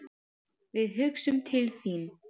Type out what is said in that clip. Við hugsum til þín.